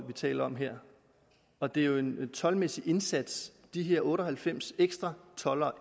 vi taler om her og det er jo en toldmæssig indsats de her otte og halvfems ekstra toldere